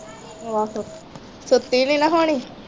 ਆਹੋਮ ਸੁੱਤੀ ਨਹੀਂ ਨਾ ਹੋਣੀ